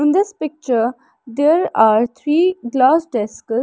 in this picture there are three glass desk.